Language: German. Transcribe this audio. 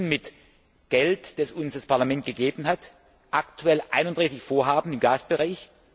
Wir unterstützen mit Geld, das uns das Parlament gegeben hat, aktuell 31 Vorhaben im Gasbereich.